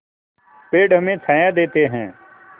पेड़ हमें छाया देते हैं